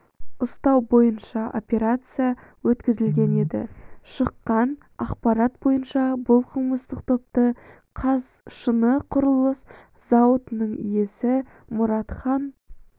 ұстау бойынша операция өткізген еді шыққан ақпарат бойынша бұл қылмыстық топты қазшынықұрылыс зауытының иесі мұратхан